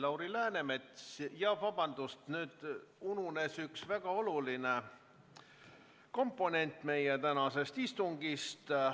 Lauri Läänemets, vabandust, mul ununes üks väga oluline komponent meie tänases istungis.